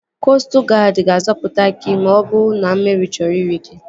Koostụ guadi ga-azọpụta gị ma ọ bụrụ na mmiri chọrọ iri gị